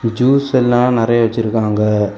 Juice எல்லா நிறைய வச்சிருக்காங்க.